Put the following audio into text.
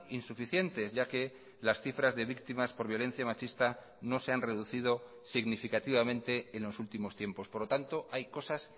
insuficientes ya que las cifras de víctimas por violencia machista no se han reducido significativamente en los últimos tiempos por lo tanto hay cosas